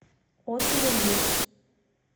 отзывы мибс